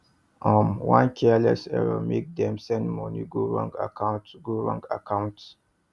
um one careless error make dem send money go wrong money go wrong account